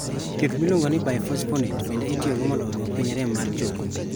Thieth miluongo ni bisphosphonates bende itiyo go mondo oduok piny rem mar chogo